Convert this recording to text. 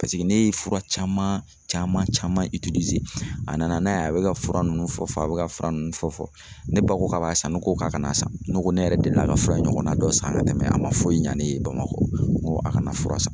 paseke ne ye fura caman caman a nana n'a ye, a be ka fura nunnu fɔ fɔ a be ka fura nunnu fɔ fɔ .Ne ba ko k'a b'a san, ne ko k'a kana san .Ne ko ne yɛrɛ delila ka fura in ɲɔgɔnna dɔ san ka tɛmɛ a ma foyi ɲa ne ye bamakɔ , n ko a kana fura in san.